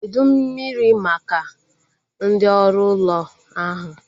Kedụ mmiri maka ndị oru ụlọ ahu?